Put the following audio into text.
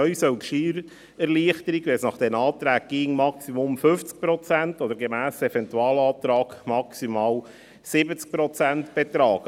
Neu soll die Steuererleichterung, wenn es nach diesen Anträgen gehen soll, maximal 50 Prozent oder gemäss Eventualantrag maximal 70 Prozent betragen.